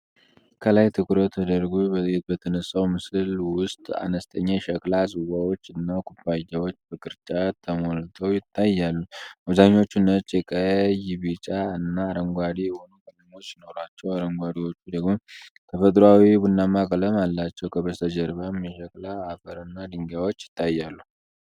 ከላይ ትኩረት ተደርጎ በተነሳው ምስል ውስጥ፣ አነስተኛ የሸክላ ጽዋዎች እና ኩባያዎች በቅርጫት ተሞልተው ይታያሉ። አብዛኛዎቹ ነጭ፣ ቀይ፣ ቢጫ፣ እና አረንጓዴ የሆኑ ቀለሞች ሲኖሩዋቸው፣ አንዳንዶቹ ደግሞ ተፈጥሮአዊ ቡናማ ቀለም አላቸው፣ ከበስተጀርባም የሸክላ አፈር እና ድንጋዮች ይታያሉ።